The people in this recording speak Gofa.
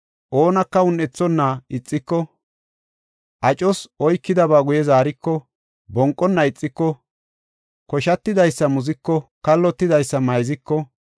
oonaka un7ethonna ixiki, acos oykidaba guye zaariko, bonqona ixiko, koshatidaysa muziko, kallotidaysa mayziko,